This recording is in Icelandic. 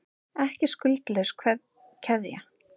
Ekki skuldlaus keðja